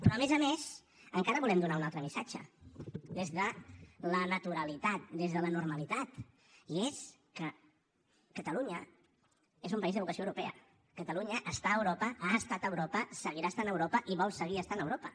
però a més a més encara volem donar un altre missatge des de la naturalitat des de la normalitat i és que catalunya és un país de vocació europea catalunya està a europa ha estat a europa seguirà estant a europa i vol seguir estant a europa